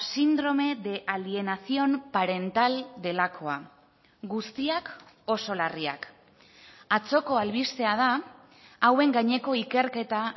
síndrome de alienación parental delakoa guztiak oso larriak atzoko albistea da hauen gaineko ikerketa